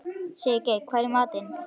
Sigurgeir, hvað er í matinn?